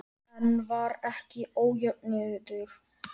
En var ekki ójöfnuður?